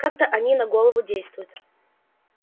как-то они на голову действуют